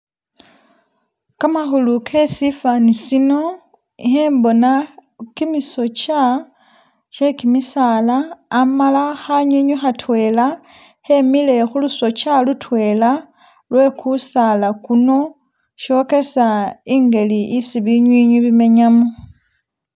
Kamahulu kesifaani sino, ihembona kimisokya kye kimisaala, amala ha'nywi nywi hatwela hemile hu lusokya lutwela lwe kusaala kuno shokesa ingeli isi binywi nywi bimenya mo